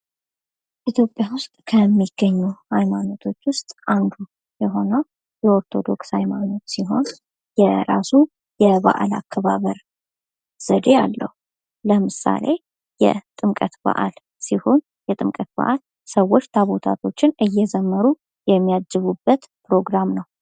የኢትዮጵያ ኦርቶዶክስ ተዋህዶ ቤተ ክርስቲያን: በኢትዮጵያ ውስጥ እጅግ ጥንታዊ እና ትልቁ የክርስትና እምነት ተቋም ነው።